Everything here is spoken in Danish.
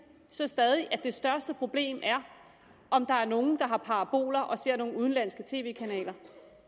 stadig at det største problem er om der er nogen der har paraboler og ser nogle udenlandske tv kanaler